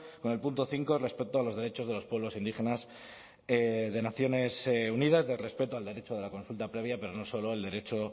con el punto cinco respecto a los derechos de los pueblos indígenas de naciones unidas del respeto al derecho de la consulta previa pero no solo el derecho